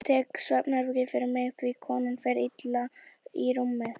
Ég tek svefnherbergið fyrir mig því konan fer illa í rúmi.